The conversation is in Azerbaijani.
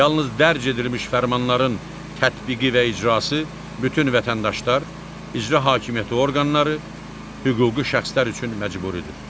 Yalnız dərc edilmiş fərmanların tətbiqi və icrası bütün vətəndaşlar, icra hakimiyyəti orqanları, hüquqi şəxslər üçün məcburidir.